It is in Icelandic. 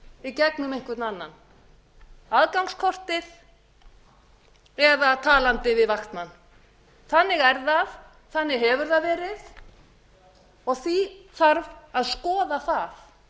í gegnum einhvern annan aðgangskortið eða að tala við vaktmann þannig er það þannig hefur það verið og því þarf að skoða það